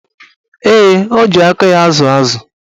Ee, o ji aka ya ázụ̀ ázụ̀.